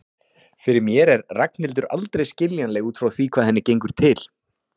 Fyrir mér er Ragnhildur aldrei skiljanleg út frá því hvað henni gengur til.